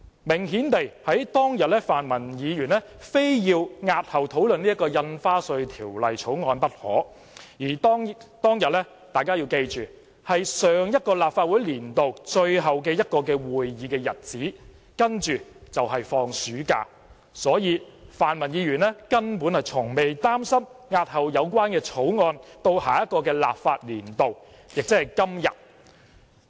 明顯地，當天泛民議員非要押後討論《條例草案》不可，而大家要記住，當天是上一個立法年度最後一個會議日子，接着便放暑假，所以泛民議員根本從不擔心押後《條例草案》至下一個立法年度，亦即是今天。